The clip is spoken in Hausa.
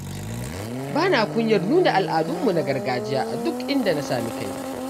Bana kunyar nuna al'adunmu na gargajiya a duk inda na sami kaina.